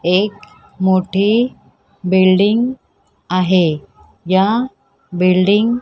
एक मोठी बिल्डिंग आहे या बिल्डिंग --